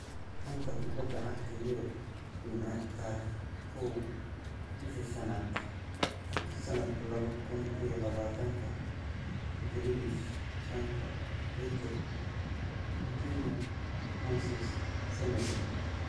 Xanta Kubadda Cagta Yurub Jimce tariqh koow bisha shanaad sanadku laboo kun iyo laba tanka Grealish, Sancho, Fekir, Coutinho, Moses, Semedo